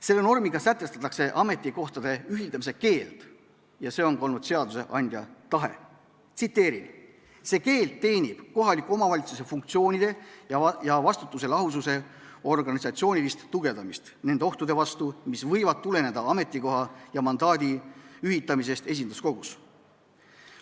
Selle normiga sätestatakse ametikohtade ühildamise keeld ja see on ka olnud seadusandja tahe: "See keeld teenib kohaliku omavalitsuse funktsioonide ja vastutuse lahususe organisatsioonilist tugevdamist nende ohtude vastu, mis võivad tuleneda ametikoha ja mandaadi ühitamisest esinduskogus.